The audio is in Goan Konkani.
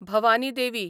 भवानी देवी